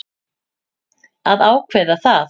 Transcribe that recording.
Að ákveða það.